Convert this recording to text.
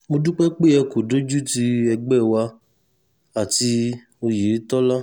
mo dúpẹ́ pé ẹ kò dojútì ẹgbẹ́ wa àti òyetòlá